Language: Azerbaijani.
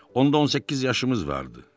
Onda 18 yaşımız vardı.